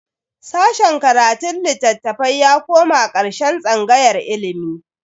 Sashen karatun litattafai ya koma karkashin tsangayar ilimi.